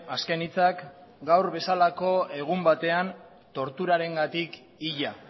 azken hitzak gaur bezalako egun batean torturarengatik hila